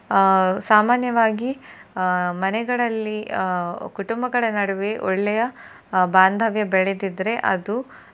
ಆ ಸಾಮಾನ್ಯವಾಗಿ ಆ ಮನೆಗಳಲ್ಲಿ ಆ ಕುಟುಂಬಗಳ ನಡುವೆ ಒಳ್ಳೆಯ ಬಾಂಧವ್ಯ ಬೆಳೆದಿದ್ರೆ ಅದು